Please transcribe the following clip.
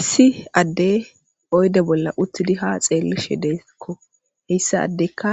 Issi addey oyde bolla uttidi ha xeellishe deeekko heyssa addekka